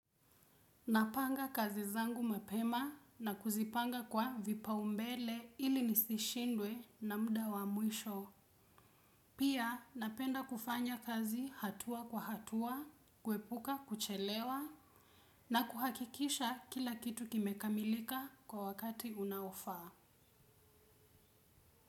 Napanga kazi zangu mapema na kuzipanga kwa vipaumbele ili nisishindwe na muda wa mwisho. Pia napenda kufanya kazi hatua kwa hatua, kuepuka kuchelewa na kuhakikisha kila kitu kimekamilika kwa wakati unaofaa.